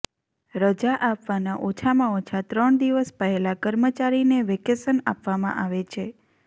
રજા આપવાના ઓછામાં ઓછા ત્રણ દિવસ પહેલાં કર્મચારીને વેકેશન આપવામાં આવે છે